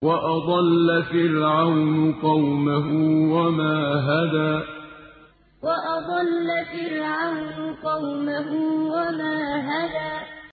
وَأَضَلَّ فِرْعَوْنُ قَوْمَهُ وَمَا هَدَىٰ وَأَضَلَّ فِرْعَوْنُ قَوْمَهُ وَمَا هَدَىٰ